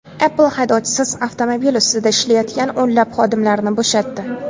Apple haydovchisiz avtomobil ustida ishlayotgan o‘nlab xodimlarni bo‘shatdi.